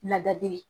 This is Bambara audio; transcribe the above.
Ladali ye